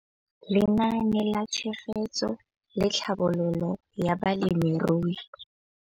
Lenaane la Tshegetso le Tlhabololo ya Balemirui.